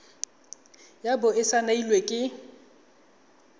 ya bo e saenilwe ke